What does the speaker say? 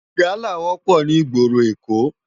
Gàlá wòpò ni igbóró Ékó